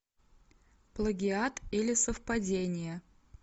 плагиат или совпадение